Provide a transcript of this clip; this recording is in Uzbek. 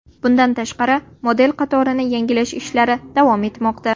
Bundan tashqari, model qatorini yangilash ishlari davom etmoqda.